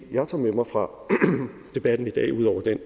jeg tager med mig fra debatten i dag ud over det